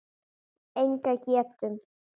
Enga getu.